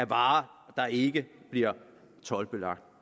varer der ikke bliver told